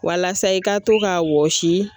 Walasa i ka to k'a wɔsi